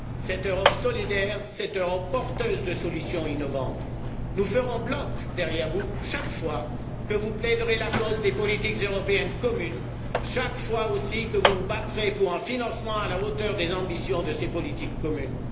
cette Europe solidaire, cette Europe porteuse de solutions innovantes. Nous ferons bloc derrière vous chaque fois que vous plaiderez la cause des politiques européennes communes, chaque fois aussi que vous vous battrez pour un financement à la hauteur des ambitions de ces politiques communes.